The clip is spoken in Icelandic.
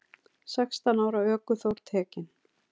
Sextán ára ökuþór tekinn